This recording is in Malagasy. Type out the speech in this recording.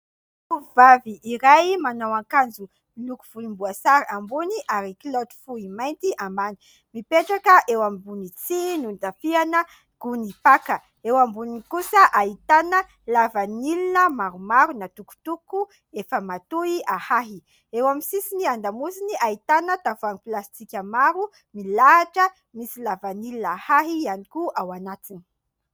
Tovovavy iray manao akanjo miloko volomboasary ambony ary kilaoty fohy mainty ambany mipetraka eo ambony tsihy notafiana gony paka, eo amboniny kosa ahitana lavanila maromaro natokotoko efa matoy ahahy, eo amin'ny sisiny an-damosiny ahitana tavoahangy plastika maro milahatra misy lavanila ahahy ihany koa ao anatiny.